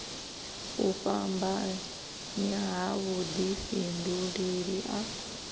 u fhambanya ha vhudifhinduleli a